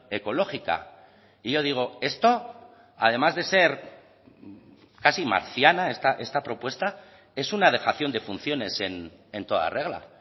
ecológica y yo digo esto además de ser casi marciana esta propuesta es una dejación de funciones en toda regla